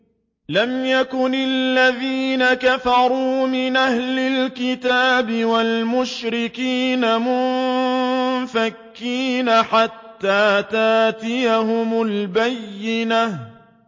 لَمْ يَكُنِ الَّذِينَ كَفَرُوا مِنْ أَهْلِ الْكِتَابِ وَالْمُشْرِكِينَ مُنفَكِّينَ حَتَّىٰ تَأْتِيَهُمُ الْبَيِّنَةُ